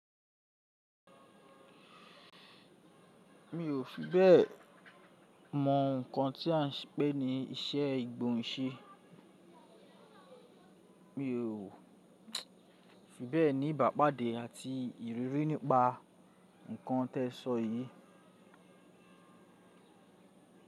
Mi ò fi bẹ́ẹ̀ mọ nǹkan tí à ń pè ní ìṣe ìgbóhùnṣe, mi ò fi bẹ́ẹ̀ ní ìbàpàdé àti ìrírí nípa nǹkan tẹ sọ yìí.